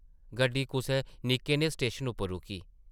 गड्डी कुसै निक्के नेह् स्टेशन उप्पर रुकी ।